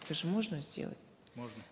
это же можно сделать можно